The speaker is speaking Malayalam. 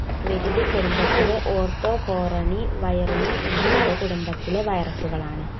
വരിഡി കുടുംബത്തിലെ ഓർത്തോകോറോണവൈറിനി എന്ന ഉപകുടുംബത്തിലെ virus കളാണ്